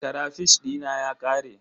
Karafish dina ya ƙare.